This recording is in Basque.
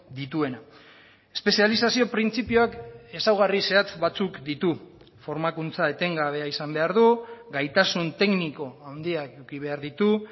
dituena espezializazio printzipioak ezaugarri zehatz batzuk ditu formakuntza etengabea izan behar du gaitasun tekniko handiak eduki behar ditu